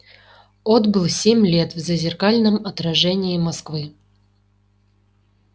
отбыл семь лет в зазеркальном отражении москвы